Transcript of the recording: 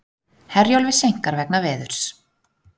Herjólfi seinkar vegna veðurs